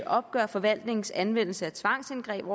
opgør forvaltningens anvendelse af tvangsindgreb